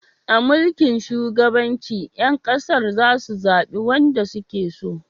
A mulkin shugabanci, 'yan kasar za su zabi wanda su ke so